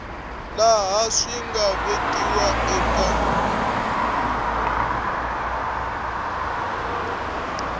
laha swi nga vekiwa eka